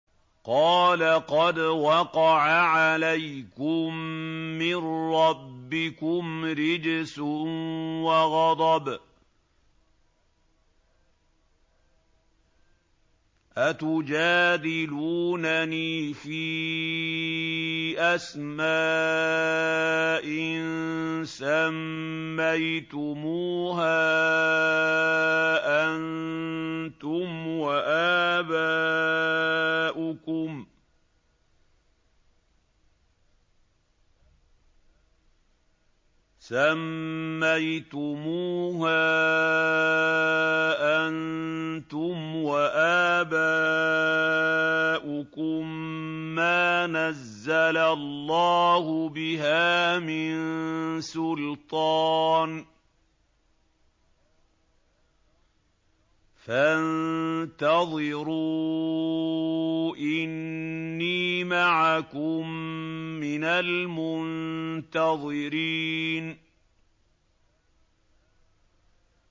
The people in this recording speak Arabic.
قَالَ قَدْ وَقَعَ عَلَيْكُم مِّن رَّبِّكُمْ رِجْسٌ وَغَضَبٌ ۖ أَتُجَادِلُونَنِي فِي أَسْمَاءٍ سَمَّيْتُمُوهَا أَنتُمْ وَآبَاؤُكُم مَّا نَزَّلَ اللَّهُ بِهَا مِن سُلْطَانٍ ۚ فَانتَظِرُوا إِنِّي مَعَكُم مِّنَ الْمُنتَظِرِينَ